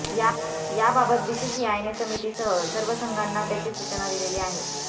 याबाबत बीसीसीआयने समितीसह सर्व संघांना त्याची सूचना दिलेली आहे